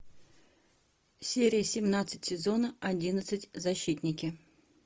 серия семнадцать сезона одиннадцать защитники